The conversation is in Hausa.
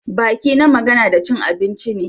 Baki na magana da cin abinci ne.